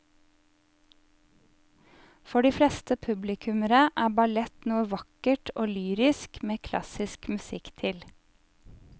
For de fleste publikummere er ballett noe vakkert og lyrisk med klassisk musikk til.